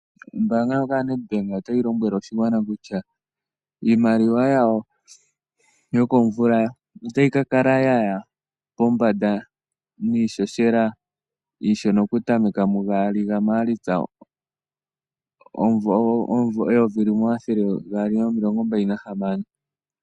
Ombaanga ndjoka ya Nadbank ota yi lombwele oshigwana kutya, iimaliwa yawo yo komvula ota yi ka kala ya ya pombanda niishoshela iishona, oku tameka mu gaali ha maalitsa omuvo omayovi gaali nomilongo mbali na hamano.